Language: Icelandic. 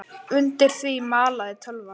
Undir því malaði tölvan.